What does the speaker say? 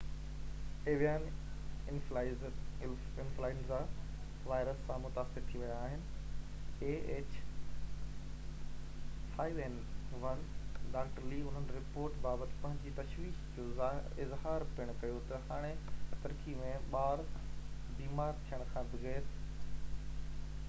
doctor لي انهن رپورٽن بابت پنهنجي تشويش جو اظهار پڻ ڪيو ته هاڻي ترڪي ۾ ٻار بيمار ٿيڻ کان بغير ah5n1 ايويان انفلوئينزا وائرس سان متاثر ٿي ويا آهن